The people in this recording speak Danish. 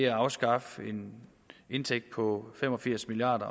afskaffer en indtægt på fem og firs milliard